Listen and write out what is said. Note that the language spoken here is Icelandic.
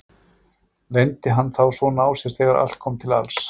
Leyndi hann þá svona á sér þegar allt kom til alls?